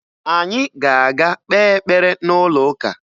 Anyị ga-aga kpee ekpere n'ụlọụka